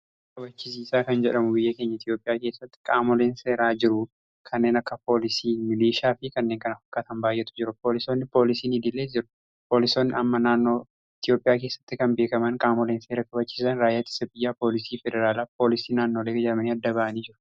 Seera kabachisiiisaa kan jedhamu biyya keenya Itiyoophiyaa keessatti qaamoleen seeraa jiru. Kanneen akka poolisii milishaa fi kanneen kana fakkaatan baay'eetu jiru. Poolisonni poolisiin idiilees jiru. Poolisoonni amma naannoo Itiyoophiyaa keessatti kan beekaman qaamoleen seera kabachiisan raayyaa ittisa biyyaa, poolisii federaalaa, poolisii naannolee kan jedhamanis adda ba'anii jiru.